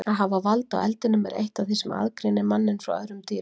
Að hafa vald á eldinum er eitt af því sem aðgreinir manninn frá öðrum dýrum.